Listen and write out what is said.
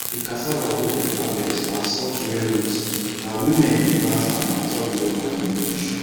the cassava wey dem harvest na soft rain root na women dey plant am after widow mourning finish